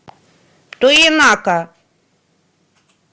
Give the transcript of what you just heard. тоенака